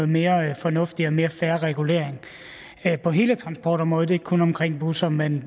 mere fornuftig og mere fair regulering på hele transportområdet det er ikke kun omkring busser men